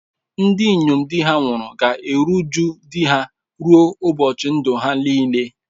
Ndị inyom di ha nwụrụ ga-eru uju di ha ruo ụbọchị ndụ ha niile.